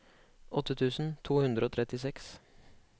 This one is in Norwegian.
åtte tusen to hundre og trettiseks